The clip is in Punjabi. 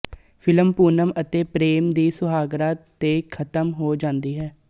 ਫਿਲਮ ਪੂਨਮ ਅਤੇ ਪ੍ਰੇਮ ਦੀ ਸੁਹਾਗਰਾਤ ਤੇ ਖਤਮ ਹੋ ਜਾਂਦੀ ਹੈ